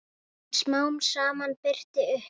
En smám saman birtir upp.